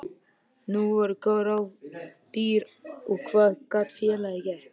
Nú voru góð ráð dýr og hvað gat félagið gert?